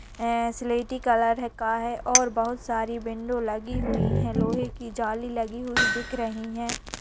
स्लेटी कलर का है और बहुत सारी विंडो लगी हुई है लोहे की जाली लगी हुई दिख रही है।